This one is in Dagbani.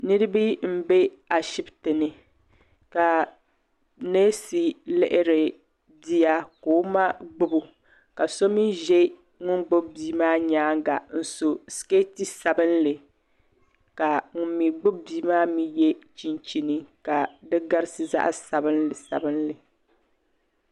Niriba m-be Ashibiti ni ka neesi lihiri bia ka o ma gbubi o ka so mi ʒe ŋun gbubi bia maa nyaaŋa n-so sikeeti sabinli ka ŋun mi gbubi bia maa mi ye chinchini ka di garisi zaɣ'sabinli sabinli.